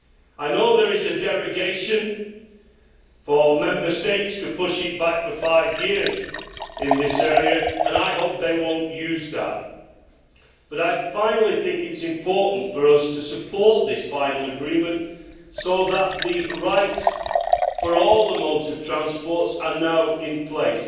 I know there is a derogation for Member States to push this back for five years in this area, and I hope they will not use that. Finally, I think it is important for us to support this final agreement so that the rights for all the modes of transport are now in place.